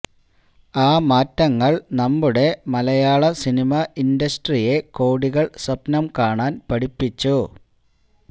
ആ മാറ്റങ്ങൾ നമ്മുടെ മലയാളം സിനിമ ഇന്ടസ്ട്രിയെ കോടികൾ സ്വപ്നം കാണാൻ പഠിപ്പിച്ചു